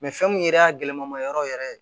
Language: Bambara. fɛn mun yɛrɛ y'a gɛlɛma ma yɔrɔ yɛrɛ ye